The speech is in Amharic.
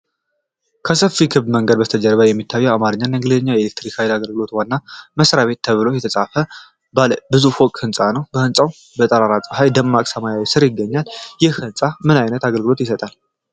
ከሰፊ ክብ መንገድ በስተጀርባ የሚታየው፣ በአማርኛና በእንግሊዝኛ “የኢትዮጵያ ኤሌክትሪክ አገልግሎት ዋና መ/ቤት” ተብሎ የተጻፈበት ባለ ብዙ ፎቅ ሕንፃ ነው። ሕንጻው በጠራራ ፀሐይና ደማቅ ሰማይ ስር ይገኛል፤ ይህ ሕንፃ ምን ዓይነት አገልግሎት ይሰጣል?